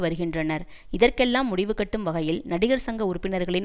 வருகின்றனர் இதற்கெல்லாம் முடிவு கட்டும் வகையில் நடிகர் சங்க உறுப்பினர்களின்